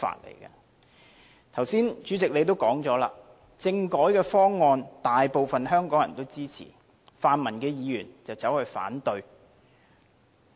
代理主席，你剛才也說了，政改方案大部分香港人也支持，泛民議員卻反對。